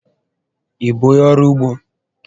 Ị bụ onyé ọrụ úgbó?